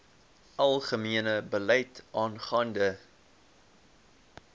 algemene beleid aangaande